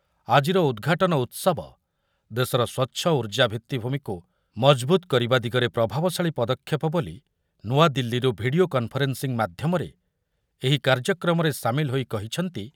ଆଜିର ଉଦ୍‌ଘାଟନ ଉତ୍ସବ ଦେଶର ସ୍ୱଚ୍ଛ ଉର୍ଜା ଭିତ୍ତିଭୂମିକୁ ମଜବୁତ୍ କରିବା ଦିଗରେ ପ୍ରଭାବଶାଳୀ ପଦକ୍ଷେପ ବୋଲି ନୂଆଦିଲ୍ଲୀରୁ ଭିଡି଼ଓ କନଫରେନ୍‌ସିଂ ମାଧ୍ୟମରେ ଏହି କାର୍ଯ୍ୟକ୍ରମରେ ସାମିଲ ହୋଇ କହିଛନ୍ତି